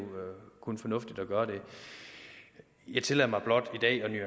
kun fornuftigt at gøre det jeg tillader mig blot